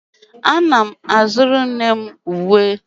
Ana m azụrụ nne m uwe